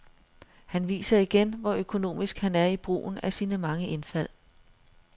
Han viser igen, hvor økonomisk han er i brugen af sine mange indfald.